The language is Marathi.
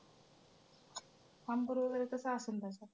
umpire वगैरे कसं असेन त्याच्यात?